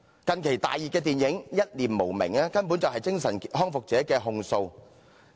近期大熱電影"一念無明"根本是精神康復者的控訴。